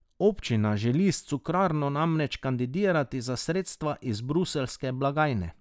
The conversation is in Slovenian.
Občina želi s Cukrarno namreč kandidirati za sredstva iz bruseljske blagajne.